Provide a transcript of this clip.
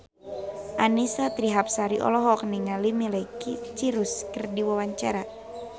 Annisa Trihapsari olohok ningali Miley Cyrus keur diwawancara